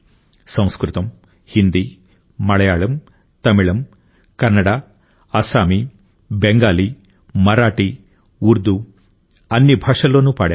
సంస్కృతం హిందీ మలయాళం తమిళం కన్నడ అస్సామీ బెంగాలీ మరాఠీ ఉర్దూ ఈ అన్ని భాషల్లోనూ పాడారు